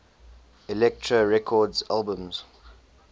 elektra records albums